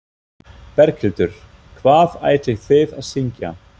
Berghildur: Hvað ætlið þið að syngja?